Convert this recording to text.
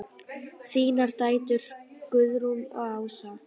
Þínar dætur, Guðrún og Ása.